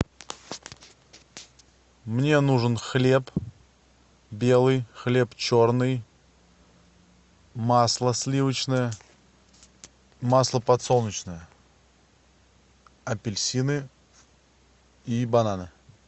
мне нужен хлеб белый хлеб черный масло сливочное масло подсолнечное апельсины и бананы